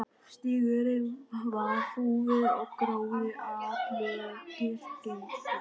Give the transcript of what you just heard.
Stígurinn var hrjúfur og gróður allur kyrkingslegur.